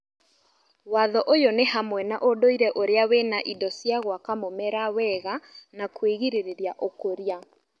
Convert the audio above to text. Watho ũyũ nĩ hamwe na ũndũire ũrĩa wĩna Indo cia gwaka mũmera wega na kwĩrĩgĩrĩria ũkũria